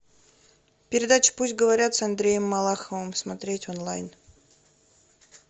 передача пусть говорят с андреем малаховым смотреть онлайн